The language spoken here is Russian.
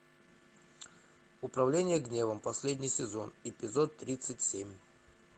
управление гневом последний сезон эпизод тридцать семь